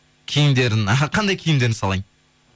кимідерін іхі қандай киімдерін салайын